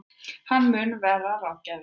Hann mun vera ráðgjafi